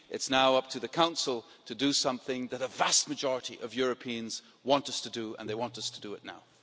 It is now up to the Council to do something that a vast majority of Europeans want us to do, and they want us to do it now.